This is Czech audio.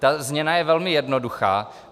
Ta změna je velmi jednoduchá.